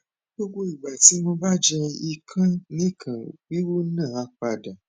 gbogbo igba ti mo ba je ikanikan wiwu na a pada